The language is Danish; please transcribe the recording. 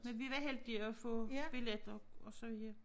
Men vi var heldige at få billetter og så ja